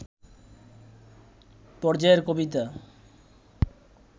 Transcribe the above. পর্যায়ের কবিতা